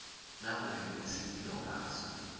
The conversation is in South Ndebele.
nakube kunesililo ngaso